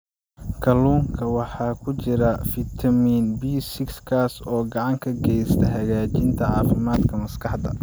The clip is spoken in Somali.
Kalluunka waxaa ku jira fitamiin B6 kaas oo gacan ka geysta hagaajinta caafimaadka maskaxda.